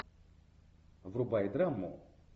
врубай драму